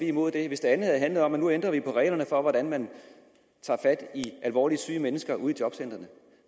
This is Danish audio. imod det hvis det andet havde handlet om at nu ændrer vi på reglerne for hvordan man tager fat i alvorligt syge mennesker ude i jobcentrene